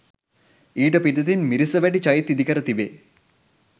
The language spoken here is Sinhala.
ඊට පිටතින් මිරිසවැටි චෛත්‍යය ඉදිකර තිබේ.